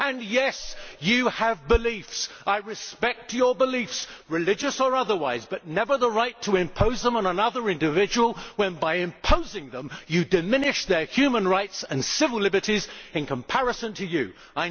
Yes, you have beliefs and I respect your beliefs, religious or otherwise but you never have the right to impose them on another individual when by imposing them you diminish their human rights and civil liberties by comparison to your own.